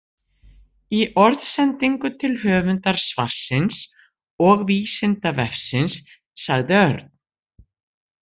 Í orðsendingu til höfundar svarsins og Vísindavefsins sagði Örn: